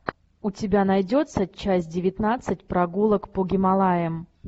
у тебя найдется часть девятнадцать прогулок по гималаям